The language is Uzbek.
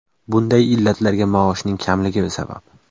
Bunday illatlarga maoshning kamligi sabab.